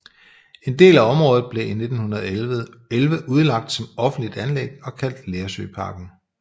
En del af området blev i 1911 udlagt som offentligt anlæg og kaldt Lersøparken